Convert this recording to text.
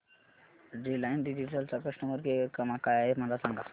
Reliance Digital चा customer care क्रमांक काय आहे मला सांगा